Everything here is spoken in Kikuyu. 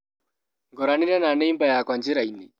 Ngoranire na neimba yakwa njĩrainĩ.